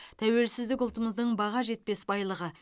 тәуелсіздік ұлтымыздың баға жетпес байлығы